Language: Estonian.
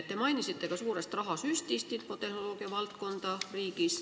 Te mainisite ka suurt rahasüsti riigi infotehnoloogiavaldkonda.